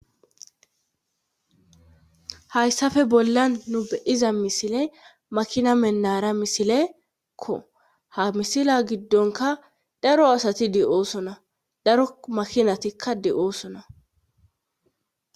Hayssafe bollan nu beiza misile makina mennara misilekko ha misila giddonka daro asati de'oosona daro makinatikka de'oosona.